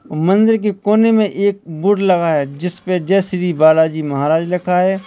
मंदिर की कोने में एक बोर्ड लगा है जिस पे जय श्री बालाजी महाराज लिखा है।